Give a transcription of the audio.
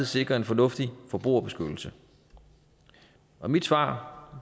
sikrer en fornuftig forbrugerbeskyttelse mit svar